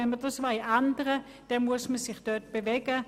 Wenn dies geändert werden soll, muss man sich dort bewegen.